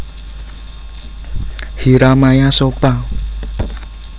Hyra Maya Sopha